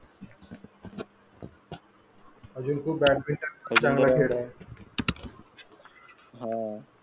अजून खूप बॅडमिंटन खेळणे हा.